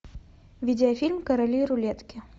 видеофильм короли рулетки